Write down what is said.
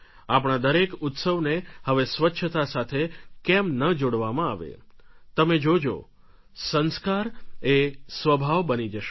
આપણા દરેક ઉત્સવને હવે સ્વચ્છતા સાથે કેમ ન જોડવામાં આવે તમે જોજો સંસ્કાર એ સ્વભાવ બની જશે